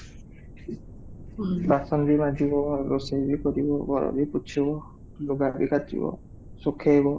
ବାସନ ବି ମାଜିବ, ରୋଷେଇ ବି କରିବ, ଘର ବି ପୋଛିବି, ଲୁଗା ଧୋଇ କାଛିବ, ସୁଖେଇବ